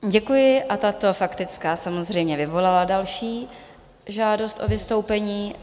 Děkuji a tato faktická samozřejmě vyvolala další žádost o vystoupení.